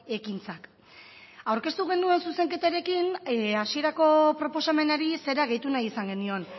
ekintzak aurkeztu genuen zuzenketarekin hasierako proposamenari zera gehitu nahi izan genion